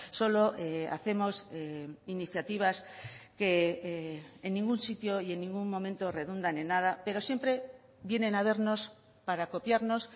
solo hacemos iniciativas que en ningún sitio y en ningún momento redundan en nada pero siempre vienen a vernos para copiarnos